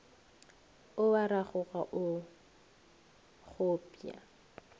o a ragoga o kgopša